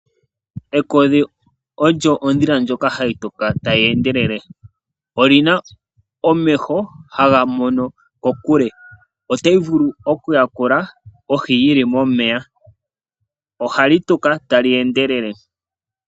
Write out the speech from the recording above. Ekodhi olyo ondhila ndjoka hayi tuka tayi endelele. Oli na omeho haga mono kokule . Otayi vulu okuyakula ohi yi li momeya. Ohali tuka tali endelele.